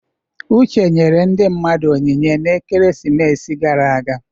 Uche nyere ndị mmadụ onyinye n'ekeresimesi gara aga.